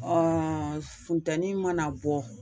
funtɛnni mana bɔ